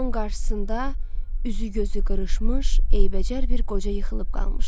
Onun qarşısında üzü gözü qırışmış, eybəcər bir qoca yıxılıb qalmışdı.